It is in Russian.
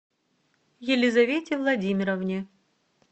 елизавете владимировне